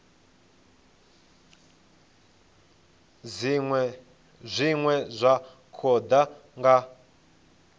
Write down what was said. zwine zwa khou ḓa nga